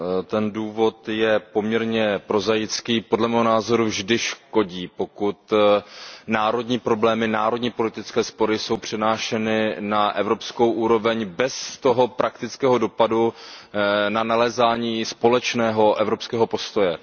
Ten důvod je poměrně prozaický. Podle mého názoru vždy škodí, pokud národní problémy, národní politické spory jsou přenášeny na evropskou úroveň bez toho praktického dopadu na nalézání společného evropského postoje.